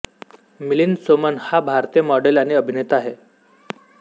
मिलिंद सोमण हा भारतीय मॉडेल आणि अभिनेता आहे